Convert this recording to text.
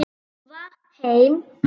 Sölva heim.